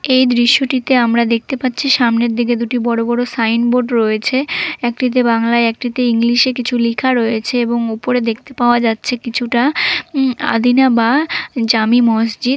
এই দৃশ্যটিতে আমরা দেখতে পাচ্ছি সামনের দিকে দুটি বড় বড় সাইনবোর্ড রয়েছে একটিতে বাংলায় একটিতে ইংলিশে কিছু লিখা রয়েছে এবং উপরে দেখতে পাওয়া যাচ্ছে কিছুটা উ-আদিনা বা জামি মসজিদ।